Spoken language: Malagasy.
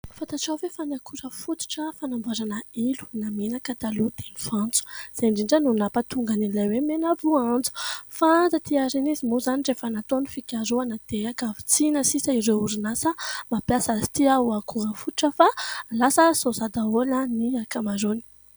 Fantarao ve fa ny akora fototra fanamboarana ilo na menaka taloha dia ny voanjo, izay indrindra no nampahatonga ny anarana hoe : mena- boanjo ; fa taty aoriana izy moa izany rehefa natao ny fikarohana, dia ankavitsiana sisa ny orinasa mampiasa azy ity ho akora fototra, fa lasa soja daholo ny ankamaroany.